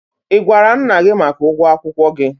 Ị gwara nna gị maka ụgwọ akwụkwọ gị?